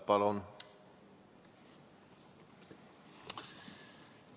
Palun!